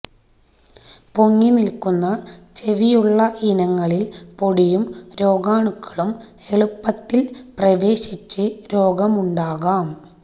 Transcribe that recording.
പൊങ്ങിനില്ക്കുന്ന ചെവിയുള്ള ഇനങ്ങളില് പൊടിയും രോഗാണുക്കളും എളുപ്പത്തില് പ്രവേശിച്ച് രോഗമുണ്ടാക്കാം